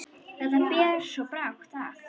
Þetta ber svo brátt að.